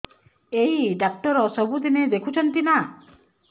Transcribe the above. ଏଇ ଡ଼ାକ୍ତର ସବୁଦିନେ ଦେଖୁଛନ୍ତି ନା